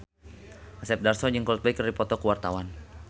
Asep Darso jeung Coldplay keur dipoto ku wartawan